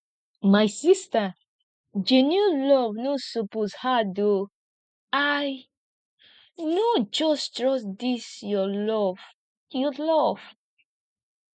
my sista genuine love no suppose hard o i no just trust dis your love your love